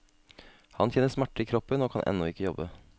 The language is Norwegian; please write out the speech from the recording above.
Han kjenner smerter i kroppen og kan ennå ikke jobbe.